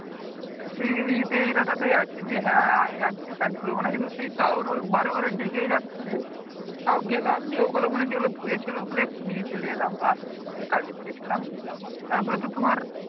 সেই ইতেই ইরাদাতেই আছি যে হ্যাঁ আজকে কাজ করবো না কিন্তু সেই তাও বারে বারে ডেকেই যাচ্ছে তাও গেলাম যেগুলা মনে হয় ধুয়েছে সেগুলা সেগুলো একটু নিয়ে চলে এলাম আর এই কাজই করেছিলাম তারপরে তো তোমার